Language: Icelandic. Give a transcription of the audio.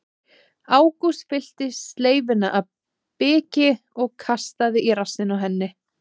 Ágúst fyllti sleifina af biki og kastaði í rassinn á henni.